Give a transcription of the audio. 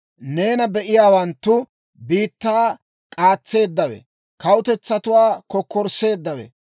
«Neena be'iyaawanttu, ‹Biittaa k'aatseeddawe, kawutetsatuwaa kokkorsseeddawe,